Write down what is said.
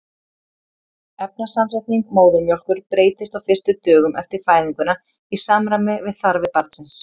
efnasamsetning móðurmjólkur breytist á fyrstu dögum eftir fæðinguna í samræmi við þarfir barnsins